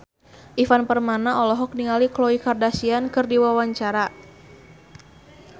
Ivan Permana olohok ningali Khloe Kardashian keur diwawancara